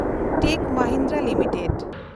ᱴᱮᱠ Mahindra limited